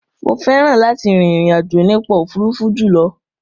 Mo fẹ́ràn láti rin ìrìn àjò nípa òfuurufú jùlọ.